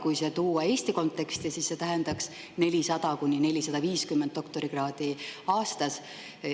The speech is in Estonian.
Kui see tuua Eesti konteksti, siis see tähendaks 400–450 doktorikraadi aastas.